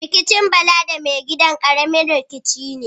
Rikicin Bala da mai gidan, ƙaramin rikici ne.